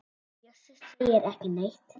Bjössi segir ekki neitt.